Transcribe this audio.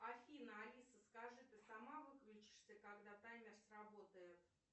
афина алиса скажи ты сама выключишься когда таймер сработает